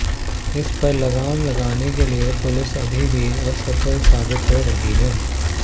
इस पर लगाम लगाने के लिए पुलिस अभी भी असफल साबित हो रही है